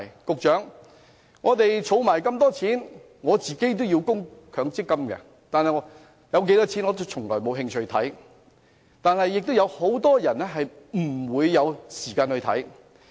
司長，我們都要作出強積金供款，但戶口有多少錢，我從來都沒興趣理會，很多人則沒有時間理會。